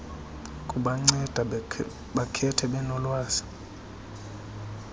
kubanceda bakhethe benolwazi